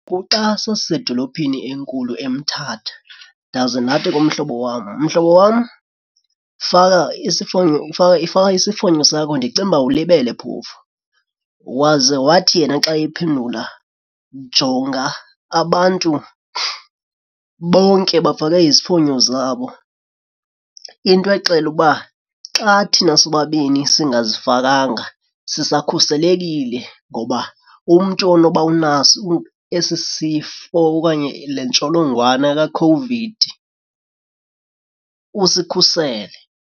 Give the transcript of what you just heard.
Kuxa sasisedolophini enkulu eMthatha ndaze ndathi kumhlobo wam, mhlobo wam, faka isifonyo faka isifonyo sakho ndicinga uba ulibele phofu. Waze wathi yena xa ephendula, jonga abantu bonke bafake izifonyo zabo into exela ukuba xa thina sobabini singazifakanga sisakhuselekile ngoba umntu onoba unaso esi sifo okanye le ntsholongwane kakhovidi usikhusele.